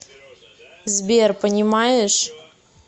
сбер понимаешь